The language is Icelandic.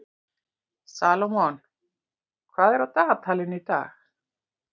Salómon, hvað er á dagatalinu í dag?